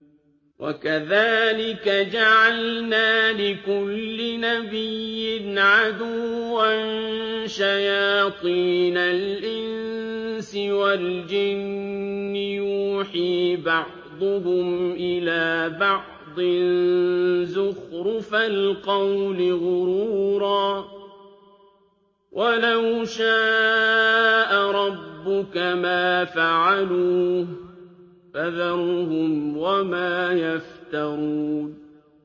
وَكَذَٰلِكَ جَعَلْنَا لِكُلِّ نَبِيٍّ عَدُوًّا شَيَاطِينَ الْإِنسِ وَالْجِنِّ يُوحِي بَعْضُهُمْ إِلَىٰ بَعْضٍ زُخْرُفَ الْقَوْلِ غُرُورًا ۚ وَلَوْ شَاءَ رَبُّكَ مَا فَعَلُوهُ ۖ فَذَرْهُمْ وَمَا يَفْتَرُونَ